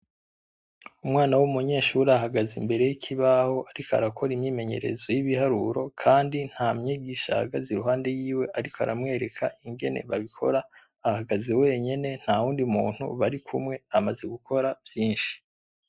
Umwana w'umunyeshure ahagaze imbere y'ikibaho ariko arakora imyimenyerezo y'ibiharuro, kandi nta mwigisha ahagaze ruhande yiwe ariko aramwereka ingene babikora. Ahagaze wenyene ntawundi muntu barikumwe, amaze gukora vyinshi.